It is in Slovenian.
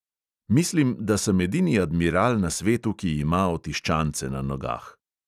"Mislim, da sem edini admiral na svetu, ki ima otiščance na nogah."